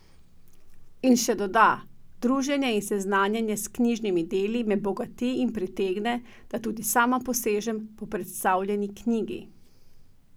In še doda: "Druženje in seznanjenje s knjižnimi deli me bogati in pritegne, da tudi sama posežem po predstavljeni knjigi.